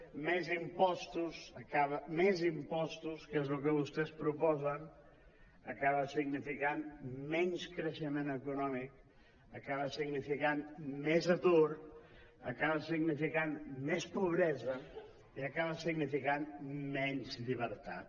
més impostos més impostos que és el que vostès proposen acaba significant menys creixe·ment econòmic acaba significant més atur acaba significant més pobresa i acaba significant menys llibertat